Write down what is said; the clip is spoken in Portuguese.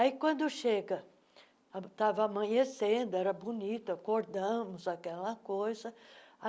Aí, quando chega, estava amanhecendo, era bonito, acordamos, aquela coisa.